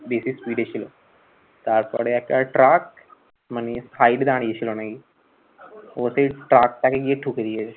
বেশি speed এ ছিল। তারপরে একটা truck মানে side এ দাঁড়িয়েছিল নাকি। ও সেই truck টাকে গিয়ে ঠুকে দিয়েছে।